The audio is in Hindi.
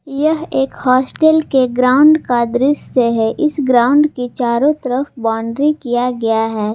यह एक हॉस्टल के ग्राउंड का दृश्य है इस ग्राउंड के चारों तरफ बाउंड्री किया गया है।